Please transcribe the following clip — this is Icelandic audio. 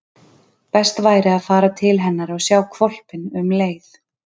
Best væri að fara til hennar og sjá hvolpinn um leið.